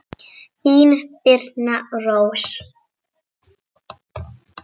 Þín Birna Rós.